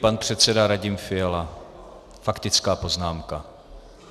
Pan předseda Radim Fiala - faktická poznámka.